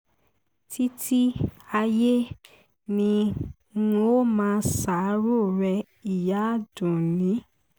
títí ayé ni n ó máa ṣàárò rẹ ìyá àdúnni